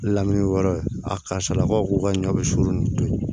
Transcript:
Lamini yɔrɔ a karisa la ko ka ɲɔ bɛ surun ni tobi